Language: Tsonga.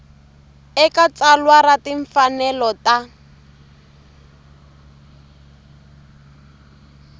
eka tsalwa ra timfanelo ta